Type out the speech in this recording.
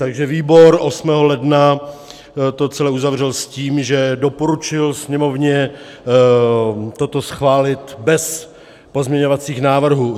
Takže výbor 8. ledna to celé uzavřel s tím, že doporučil Sněmovně toto schválit bez pozměňovacích návrhů.